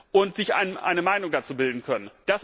und sich eine Meinung dazu bilden können.